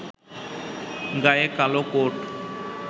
গায়ে কালো কোট